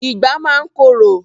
Ìgbá máa ń korò.